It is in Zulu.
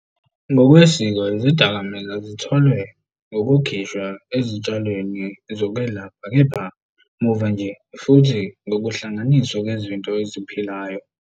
Ngokwesiko izidakamizwa zitholwe ngokukhishwa ezitshalweni zokwelapha, kepha muva nje futhi ngokuhlanganiswa kwezinto eziphilayo.